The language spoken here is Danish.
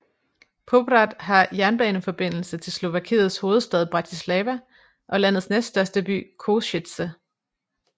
Poprad har jernbaneforbindelse til Slovakiets hovedstad Bratislava og landets næststørste by Košice